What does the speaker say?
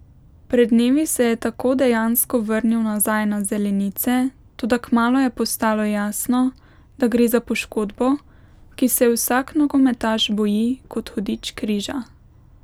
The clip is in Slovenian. Pred dnevi se je tako dejansko vrnil nazaj na zelenice, toda kmalu je postalo jasno, da gre za poškodbo, ki se je vsak nogometaš boji kot hudič križa.